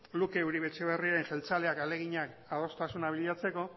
luke uribe etxebarria jeltzaleak ahaleginak adostasun bilatzeko